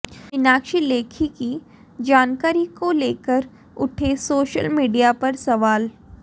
मीनाक्षी लेखी की जानकारी को लेकर उठे सोशल मीडिया पर सवाल